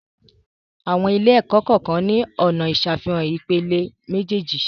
Àwọn ilé-ẹ̀kọ́ kọ́ọ̀kan ni ọna ìsàfihàn ìpele méjèèjì.